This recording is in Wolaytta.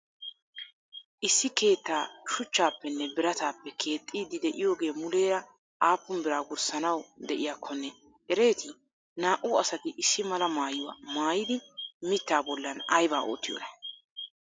Issi keettaa shuchchappenne biraatappe keexxiiddi de'iyogee muleera appun bira wurssaanawu de'iyakkonne ereeti? naa'u asati issi mala maayuwa maayidi miittaa bollan ayba oottiyonaa?